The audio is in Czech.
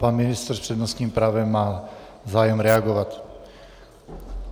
Pan ministr s přednostním právem má zájem reagovat.